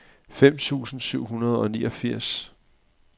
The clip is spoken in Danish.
fem tusind syv hundrede og niogfirs